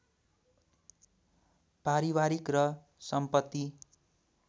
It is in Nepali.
पारिवारिक र सम्पत्ति